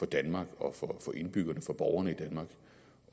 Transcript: danmark og for borgerne i danmark